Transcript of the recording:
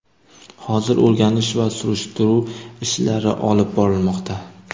Hozir o‘rganish va surishtiruv ishlari olib borilmoqda.